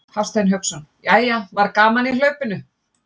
Hafsteinn Hauksson: Jæja var gaman í hlaupinu?